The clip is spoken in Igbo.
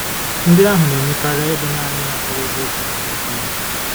Ndị ahụ na-eme karịa ịbụ naanị ịnakwere eziokwu nke Okwu Ya.